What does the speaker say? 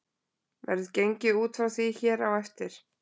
Verður gengið út frá því hér á eftir.